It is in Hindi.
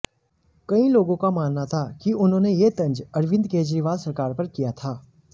कई लोगों का मानना था कि उन्होंने यह तंज अरविंद केजरीवाल सरकार पर किया था